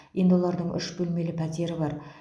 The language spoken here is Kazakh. енді олардың үш бөлмелі пәтері бар